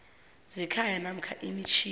zekhaya namkha imitjhini